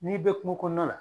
N'i bɛ kungo kɔnɔna na